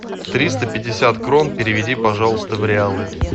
триста пятьдесят крон переведи пожалуйста в реалы